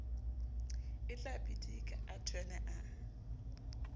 o tlabidika a thwene a